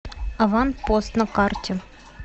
аванпост на карте